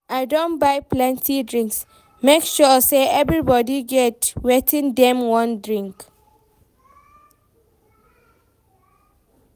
I don buy plenty drinks, make sure sey everybodi get wetin dem wan drink.